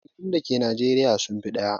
ƙabilun dake Nijeriya sun fi ɗaya.